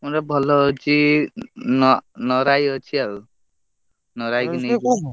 ଗୋଟେ ଭଲ ଅଛି ନରାଇ ଅଛି ଆଉ ନରାଇ କି ନେଇଯିବା ଆଉ।